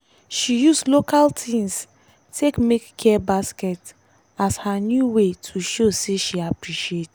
she use local things take make care baskets as her new way to show say she appreciate.